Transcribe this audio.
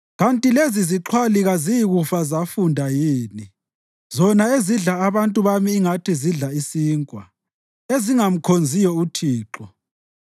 Kanti lezizixhwali kaziyikufa zafunda yini? Zona ezidla abantu bami ingathi zidla isinkwa, ezingamkhonziyo uThixo.